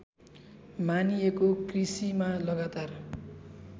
मानिएको कृषिमा लगातार